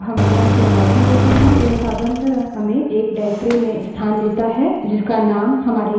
जब हम लिनक्स में login करते हैं यह साधारणतः हमें एक निर्देशिका directory में स्थान देता है जिसका named हमारे यूजरनेम पर रखा होता है